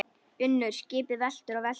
UNNUR: Skipið veltur og veltur.